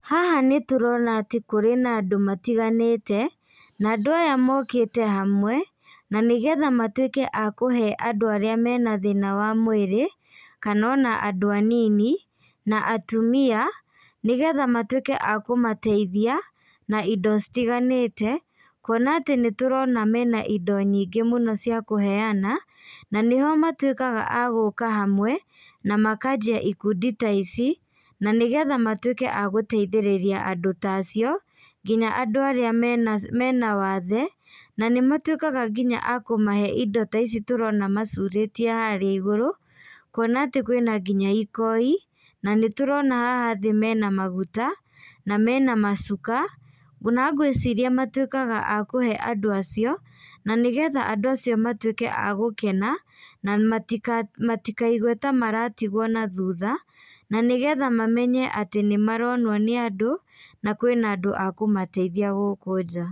Haha nĩ tũrona atĩ kũrĩ na andũ matiganĩte, na andũ aya mokĩte hamwe, na nĩgetha matuĩke akũhe andũ arĩa mena thĩna wa mwĩrĩ, kana ona andũ anini na atumia, nĩgetha matuĩke a kũmateithia na indo citiganĩte. Kuona atĩ nĩ tũrona mena indo nyingĩ mũno cia kũheana, na nĩho matuĩkaga a gũka hamwe na makanjia ikundi ta ici na nĩgetha matuĩke agũteithĩrĩria andũ ta acio, nginya andũ arĩa me na wathe. Na nĩ matuĩkaga nginya akũmahe indo ta ici tũrona macurĩtie harĩa igũrũ, kũona atĩ kwĩna nginya ikoi na nĩ tũrona haha thĩ mena maguta na mena macuka. Ona ngĩciria matuĩkaga a kũhe andũ acio, na nĩgetha andũ acio matuĩke a gũkena na matikaigue ta maratigwo na thutha, na nĩgetha mamenye atĩ nĩ maronwo nĩ andũ, na kwĩna andũ a kũmateithia gũkũ nja.